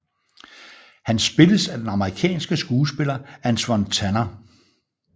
Han spilles af den amerikanske skuespiller Antwon Tanner